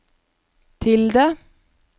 tilde